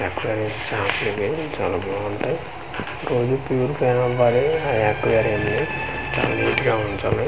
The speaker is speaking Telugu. ఎక్వేరియం చాపలు ఇవి చాలా బాగుంటాయి రోజు పూరిఫై అవ్వాలి అ ఎక్వేరియం ని చాలా నీట్ గా ఉంచాలి.